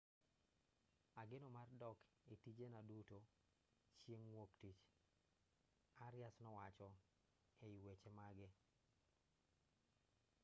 ageno mar dok e tijena duto chieng' wuoktich arias nowacho ei weche mage